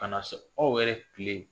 Kana se aw yɛrɛ kile